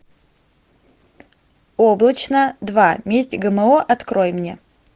облачно два месть гмо открой мне